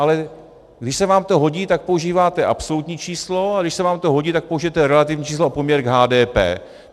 Ale když se vám to hodí, tak používáte absolutní číslo, a když se vám to hodí, tak použijete relativní číslo a poměr k HDP.